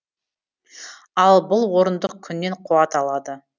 ал бұл орындық күннен қуат алады